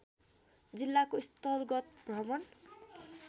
जिल्लाको स्थलगत भ्रमण